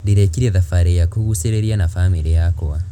Ndĩrekire thabarĩ ya kũgucĩrĩria na bamĩrĩ yakwa.